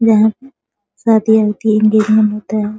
यहाँ शादी होती है एंगजेमेंट होता है |